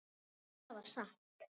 Það var satt.